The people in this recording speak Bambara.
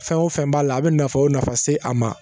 Fɛn o fɛn b'a la a bɛ nafa o nafa se a ma